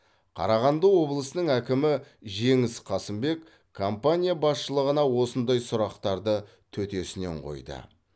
қарағанды облысының әкімі жеңіс қасымбек компания басшылығына осындай сұрақтарды төтесінен қойды